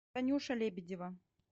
танюша лебедева